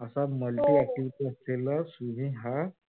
असा multi activity असलेल swimming हा